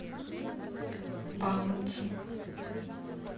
баунти